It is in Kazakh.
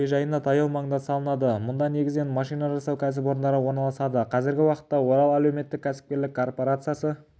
әуежайына таяу маңда салынады мұнда негізінен машина жасау кәсіпорындары орналасады қазіргі уақытта орал әлеуметтік-кәсіпкерлік корпорациясы